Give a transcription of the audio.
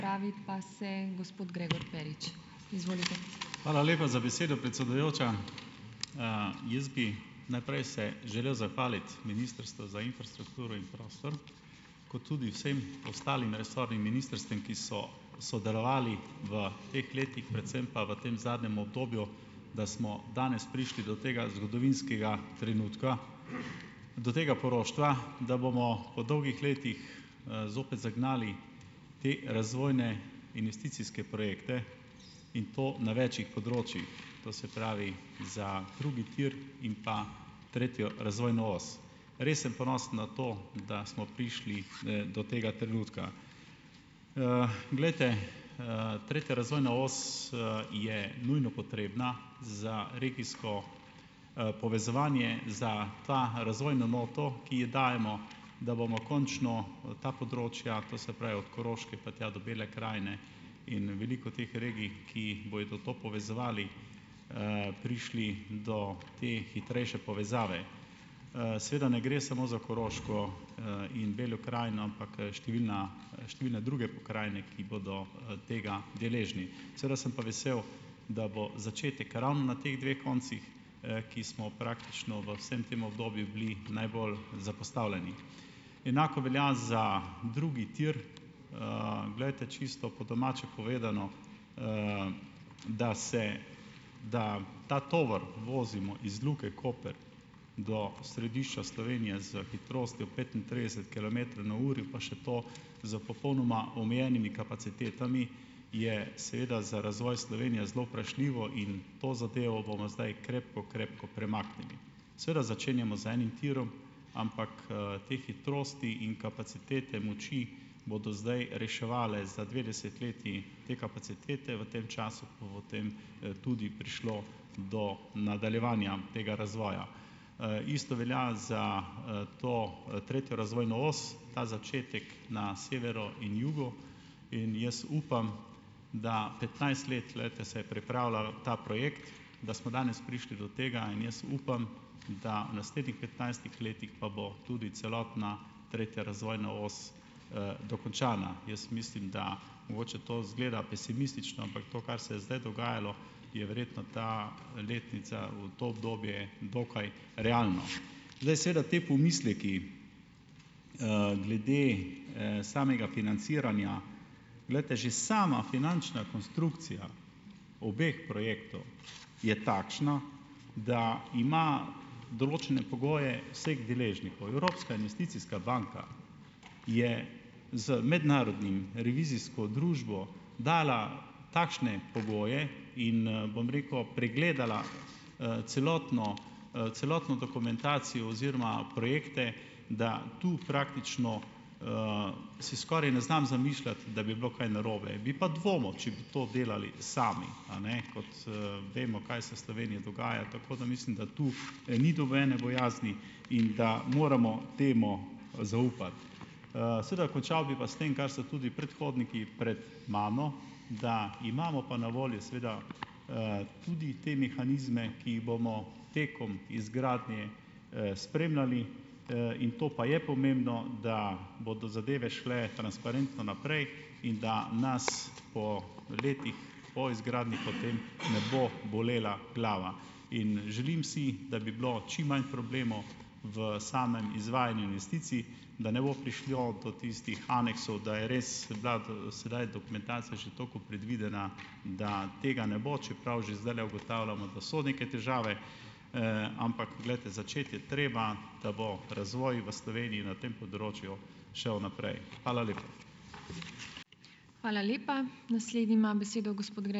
Hvala lepa za besedo, predsedujoča. Jaz bi najprej se želel zahvaliti Ministrstvu za infrastrukturo in prostor, kot tudi vsem ostalim resornim ministrstvom, ki so sodelovali v teh letih, predvsem pa v tem zadnjem obdobju, da smo danes prišli do tega zgodovinskega trenutka, do tega poroštva, da bomo po dolgih letih, zopet zagnali te razvojne investicijske projekte in to na večih področjih. To se pravi, za drugi tir in pa tretjo razvojno os. Res sem ponosen na to, da smo prišli do tega trenutka. Glejte, tretja razvojna os, je nujno potrebna za regijsko, povezovanje, za to razvojno noto, ki ji dajemo, da bomo končno ta področja, to se pravi, od Koroške, pa tja do Bele krajine in veliko teh regij, ki bojo to povezovali, prišli do te hitrejše povezave. Seveda ne gre samo za Koroško, in Belo krajno, ampak, številna številne druge pokrajine, ki bodo, tega deležne, seveda sem pa vesel, da bo začetek ravno na teh dveh koncih, ki smo praktično, v vsem tem obdobju, bili najbolj zapostavljeni. Enako velja za drugi tir. Glejte, čisto po domače povedano, da se, da ta tovor vozimo iz Luke Koper do središča Slovenije s hitrostjo petintrideset kilometrov na uro, pa še to s popolnoma omejenimi kapacitetami, je seveda za razvoj Slovenije zelo vprašljivo in to zadevo bomo zdaj krepko, krepko premaknili. Seveda začenjamo z enim tirom, ampak, te hitrosti in kapacitete moči, bodo zdaj reševali za dve desetletji te kapacitete, v tem času pa potem, tudi prišlo do nadaljevanja tega razvoja. Isto velja za, to, tretjo razvojno os. Ta začetek na severu in jugu in jaz upam, da petnajst let, glejte, se je pripravljal ta projekt, da smo danes prišli do tega in jaz upam, da v naslednjih petnajstih letih pa bo tudi celotna tretja razvojna os, dokončana. Jaz mislim, da mogoče to izgleda pesimistično, ampak to, kar se je zdaj dogajalo, je verjetno ta letnica v to obdobje dokaj realno. Glej, seveda, ti pomisleki, glede, samega financiranja, glejte, že sama finančna konstrukcija obeh projektov je takšna, da ima določene pogoje vseh deležnikov. Evropska investicijska banka je z mednarodnim revizijsko družbo dala takšne pogoje in, bom rekel, pregledala, celotno, celotno dokumentacijo oziroma projekte, da tu praktično, si skoraj ne znam zamišljati, da bi bilo kaj narobe. Bi pa dvomil, če bi to delali sami, a ne, kot vemo, kaj se v Sloveniji dogaja. Tako da. Mislim, da tu ni dovoljene bojazni in da moramo temu zaupati. Seveda končal bi pa s tem, kar so tudi predhodniki pred mano, da imamo pa na voljo seveda, tudi te mehanizme, ki jih bomo tekom izgradnje, spremljali. in to pa je pomembno, da bodo zadeve šle transparentno naprej in da nas po letih po izgradnji potem ne bo bolela glava. In želim si, da bi bilo čim manj problemov v samem izvajanju investicij, da ne bo prišlo do tistih aneksov, da je res bila sedaj dokumentacija že toliko predvidena, da tega ne bo, čeprav že zdajle ugotavljamo, da so neke težave, ampak poglejte, začeti je treba, da bo razvoj v Sloveniji na tem področju šel naprej. Hvala lepa.